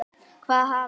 Hvað hafi gerst?